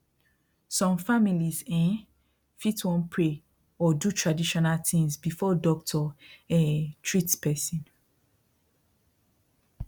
some families um fit wan pray or do traditional things before doctor um treat person